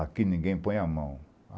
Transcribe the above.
Aqui ninguém põe a mão.